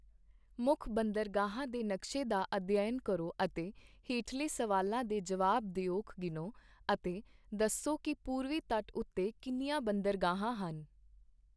ਮੁੱਖ ਬੰਦਰਗਾਹਾਂ ਦੇ ਨਕਸ਼ੇ ਦਾ ਅਧਿਐਨ ਕਰੋ ਅਤੇ ਹੇਠਲੇ ਸਵਾਲਾਂ ਦੇ ਜਵਾਬ ਦਿਉਕ ਗਿਣੋ ਅਤੇ ਦੱਸੋ ਕਿ ਪੂਰਵੀ ਤਟ ਉੱਤੇ ਕਿੰਨੀਆਂ ਬੰਦਰਗਾਹਾਂ ਹਨ।